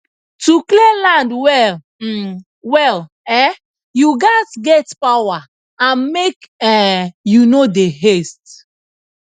to clear land well um well um you gatz get power and make um you no dey haste